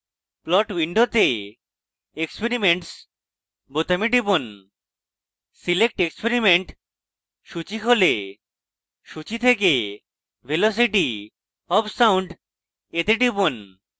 plot window experiments বোতামে টিপুন select experiment সূচী খোলে সূচী থেকে velocity of sound তে টিপুন